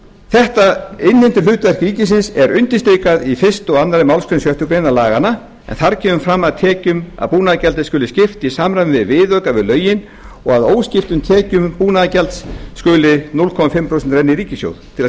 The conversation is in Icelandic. þetta innheimtuhlutverk ríkisins er undirstrikað í fyrsta og annarri málsgrein sjöttu grein laganna en þar kemur fram að tekjum af búnaðargjaldi skuli skipt í samræmi við viðauka við lögin og af óskiptum tekjum búnaðargjalds skuli hálft prósent renna í ríkissjóð til að